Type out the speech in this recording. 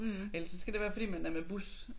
Ellers så skal det være fordi man er med bus